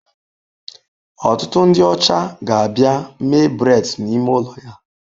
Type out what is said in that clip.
Ọtụtụ ndị ọcha ga-abịa mee braids n'ime ụlọ ya.